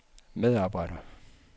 medarbejder